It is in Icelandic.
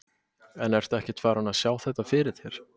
En ertu ekkert farinn að sjá þetta fyrir þér?